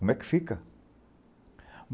Como é que fica?